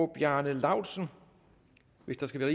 bjarne laustsen hvis der skal være